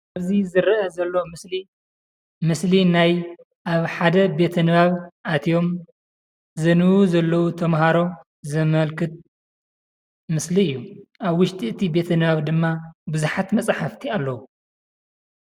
እዚ ዝረአ ዘሎ ምስሊ ምስሊ ናይ አብ ሓደ ቤተ ንባብ አትዮም ዘንብቡ ዘለው ተማሃሮ ዘመልክት ምስሊ እዩ፡፡ አብ ውሽጢ ቤተ ንባብ ድማ ብዛሓት መፅሓፍቲ አለው፡፡